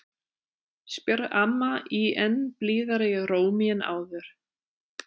spyr amma í enn blíðari rómi en áður.